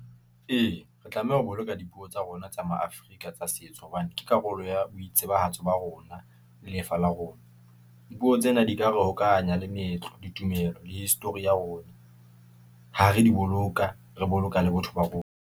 Ee, re tlameha o boloka dipuo tsa rona tsa ma-Afrika tsa setso, hobane ke karolo ya boitsebahatso ba rona, le lefa la rona . Dipuo tsena di ka re hokahanya le meetlo, ditumelo le history ya rona , ha re di boloka, re boloka le botho ba rona.